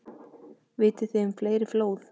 Vitið þið um fleiri flóð?